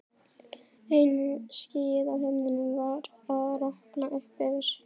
Eina skýið á himninum var að rakna upp yfir